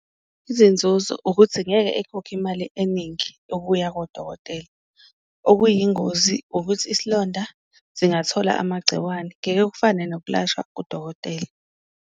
Izinzuzo ukuthi ngeke ekhokhe imali eningi yokuya kodokotela, okuyingozi ukuthi isilonda singathola amagciwane, ngeke kufane nokulashwa kudokotela.